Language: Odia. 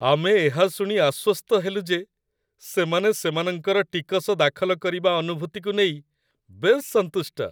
ଆମେ ଏହା ଶୁଣି ଆଶ୍ଵସ୍ତ ହେଲୁ ଯେ ସେମାନେ ସେମାନଙ୍କର ଟିକସ ଦାଖଲ କରିବା ଅନୁଭୂତିକୁ ନେଇ ବେଶ୍ ସନ୍ତୁଷ୍ଟ।